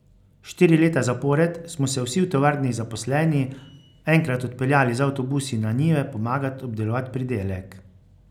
Štiri leta zapored smo se vsi v tovarni zaposleni enkrat odpeljali z avtobusi na njive pomagat obdelovat pridelek.